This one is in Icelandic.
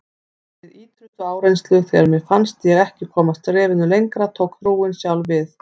Við ýtrustu áreynslu, þegar mér fannst ég ekki komast skrefinu lengra, tók trúin sjálf við.